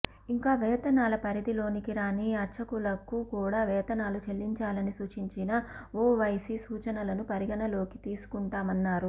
ఇంకా వేతనాల పరిధిలోనికి రాని అర్చకులకు కూడా వేతనాలు చెల్లించాలని సూచించిన ఒవైసీ సూచనలను పరిగణనలోనికి తీసుకుంటామన్నారు